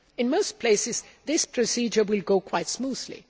In most places, this procedure will go quite smoothly.